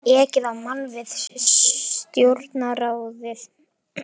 Ekið á mann við Stjórnarráðið